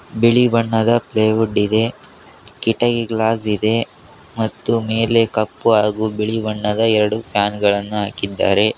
ಬಿಳಿ ಬಣ್ಣದ ಪ್ಲೆವುಡ್ ಇದೆ ಕಿಟಕಿ ಗ್ಲಾಸ್ ಇದೆ ಮತ್ತು ಮೇಲೆ ಕಪ್ಪು ಹಾಗು ಬಿಳಿ ಬಣ್ಣದ ಎರಡು ಫ್ಯಾನ್ ಗಳನ್ನ ಹಾಕಿದ್ದಾರೆ.